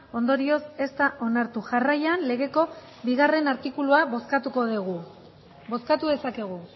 ondorioz ez da onartu jarraian legeko bigarrena artikulua bozkatuko dugu bozkatu dezakegu